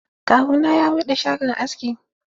Kawu na ya buɗe shagon aski.